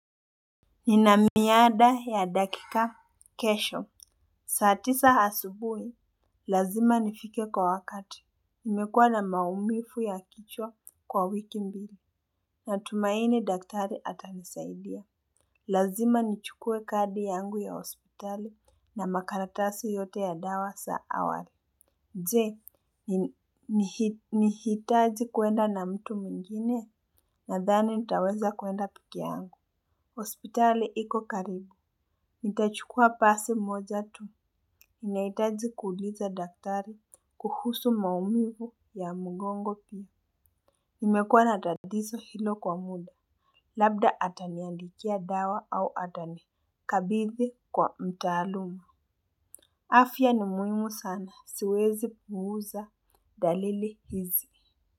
Nina miada ya dakika kesho. Saa tisa asubuhi, lazima nifike kwa wakati. Nimekuwa namaumivu ya kichwa kwa wiki mbili. Natumaini daktari atanisaidia. Lazima nichukue kadi yangu ya hospitali na makaratasi yote ya dawa za awali. Je, nihitaji kuenda na mtu mwingine? Nadhani nitaweza kuenda pekee yangu. Hospitali iko karibu, nitachukua basi moja tu. Ninahitaji kuuliza daktari kuhusu maumivu ya mgongo pia. Nimekuwa na tatizo hilo kwa muda, labda ataniandikia dawa au atanikabidhi kwa mtaalumu. Afya ni muhimu sana, siwezi puuza dalili hizi.